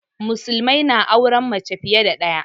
Musulmai na auren mace fiye da ɗaya